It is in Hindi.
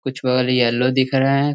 कुछ येल्लो दिख रहे हैं।